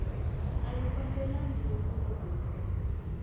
a yi fambelani na nhlokomhaka